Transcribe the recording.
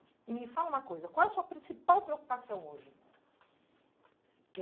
E me fala uma coisa, qual é a sua principal preocupação hoje?